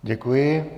Děkuji.